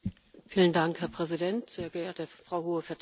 Herr Präsident, sehr geehrte Frau Hohe Vertreterin!